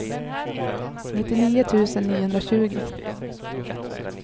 nittionio tusen niohundratjugo